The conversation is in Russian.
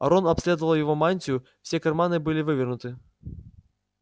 рон обследовал его мантию все карманы были вывернуты